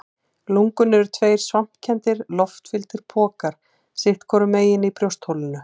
Lungun eru tveir svampkenndir, loftfylltir pokar sitt hvorum megin í brjóstholinu.